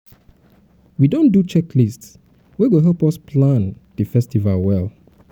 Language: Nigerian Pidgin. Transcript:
we don do checklist wey go help us plan help us plan di festival well